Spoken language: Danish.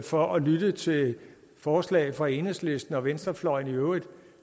for at lytte til forslag fra enhedslisten og venstrefløjen i øvrigt at